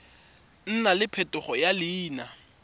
nna le phetogo ya leina